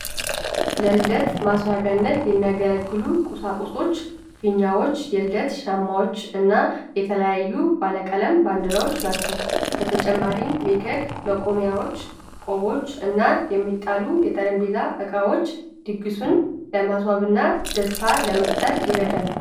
ለልደት ማስዋቢያነት የሚያገለግሉ ቁሳቁሶች ፊኛዎች፣ የልደት ሻማዎች እና የተለያዩ ባለቀለም ባንዲራዎች ናቸው። በተጨማሪም፣ የኬክ መቆሚያዎች፣ ቆቦች እና የሚጣሉ የጠረጴዛ ዕቃዎች ድግሱን ለማስዋብና ደስታ ለመፍጠር ይረዳሉ።